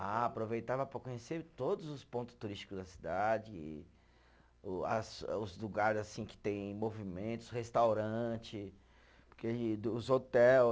Ah, aproveitava para conhecer todos os ponto turístico da cidade e, o as os lugares assim que tem movimentos, restaurante, os hotel.